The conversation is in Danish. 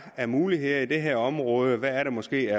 af muligheder i det her område er der måske